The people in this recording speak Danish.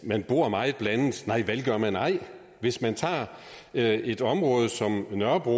man bor meget blandet nej vel gør man ej hvis man tager et et område som nørrebro